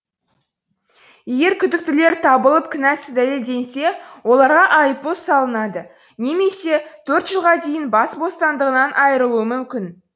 егер күдіктілер табылып кінәсы дәлелденсе оларға айыппұл салынады немесе төрт жылға дейін бас бостандығынан айрылуы мүмкін